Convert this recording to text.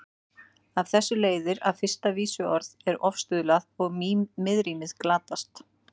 Af þessu leiðir að fyrsta vísuorð er ofstuðlað og miðrímið glatast.